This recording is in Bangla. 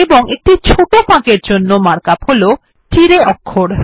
এবং একটি ছোট ফাঁকের জন্য সেটি হল তিরাই অক্ষর